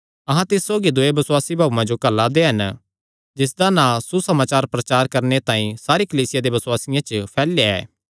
अहां तिस सौगी दूये बसुआसी भाऊये जो घल्ला दे हन जिसदा नां सुसमाचार प्रचार करणे तांई सारी कलीसिया दे बसुआसियां च फैलया ऐ